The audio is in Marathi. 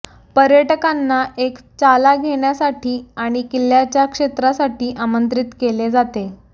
पर्यटकांना एक चाला घेण्यासाठी आणि किल्ल्याच्या क्षेत्रासाठी आमंत्रित केले जाते